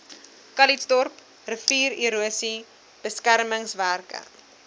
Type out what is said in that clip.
calitzdorp riviererosie beskermingswerke